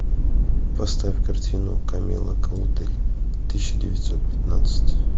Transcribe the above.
поставь картину камилла клодель тысяча девятьсот пятнадцать